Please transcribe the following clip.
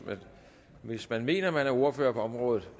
men hvis man mener at man er ordfører på området